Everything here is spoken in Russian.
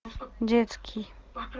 детский